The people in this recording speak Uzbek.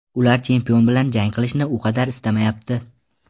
Ular chempion bilan jang qilishni u qadar istamayapti.